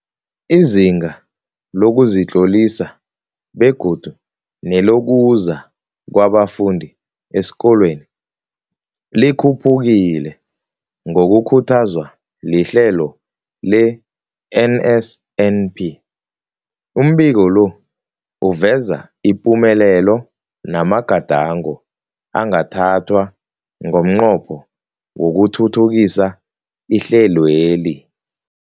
Izinga lokuzitlolisa begodu nelokuza kwabafundi esikolweni likhuphukile ngokukhuthazwa lihlelo le-NSNP. Umbiko lo uveza ipumelelo namagadango angathathwa ngomnqopho wokuthuthukisa ihlelweli.